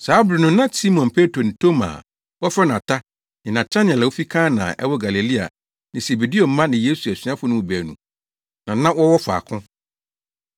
Saa bere no na Simon Petro ne Toma (a wɔfrɛ no Ata), ne Natanael a ofi Kana a ɛwɔ Galilea ne Sebedeo mma ne Yesu asuafo no mu baanu na na wɔwɔ faako.